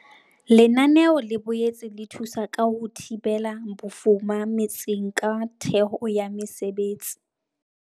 Lenaneo le boetse le thusa ka ho thibela bofuma metseng ka theho ya mesebetsi.